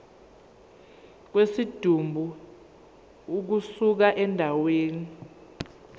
kwesidumbu ukusuka endaweni